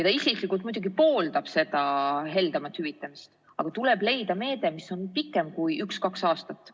Ta isiklikult muidugi pooldab seda heldemat hüvitamist, aga tuleb leida meede, mis on pikem kui üks-kaks aastat.